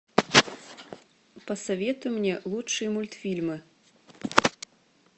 посоветуй мне лучшие мультфильмы